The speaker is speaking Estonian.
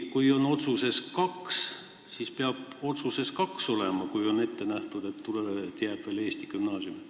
Kui on ette nähtud, et jääb ka veel eesti gümnaasium, siis peab otsuses olema kirjas kaks gümnaasiumi.